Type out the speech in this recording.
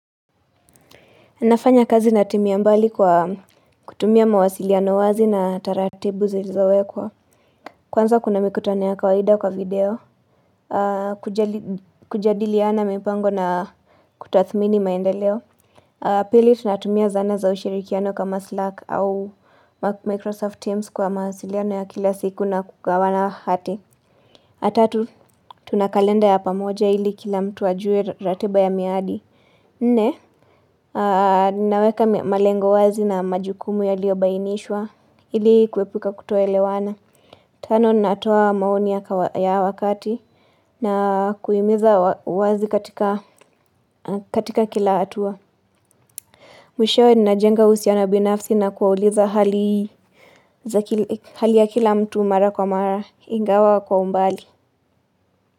Nafanya kazi na timu ya mbali kwa kutumia mawasiliano wazi na taratibu zilizowekwa. Kwanza kuna mikutano ya kawaida kwa video. Kujadiliana mipango na kutathmini maendeleo. Pili tunatumia zana za ushirikiano kama Slack au Microsoft Teams kwa mawasiliano ya kila siku na kugawana hati. Ya tatu tuna kalenda ya pamoja ili kila mtu ajue ratiba ya miadi. Nne, ninaweka malengo wazi na majukumu yaliyobainishwa, ili kuepuka kutoelewana. Tano, natoa maoni ya wakati, na kuhimiza wazi katika kila hatua. Mwishowe ninajenga uhusiano binafsi na kuwauliza hali ya kila mtu mara kwa mara, ingawa kwa umbali.